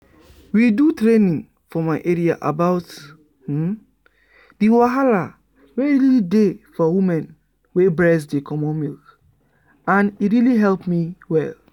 we do training for my area about the wahala wey really dey for women wey breast dey comot milk and e really help me well.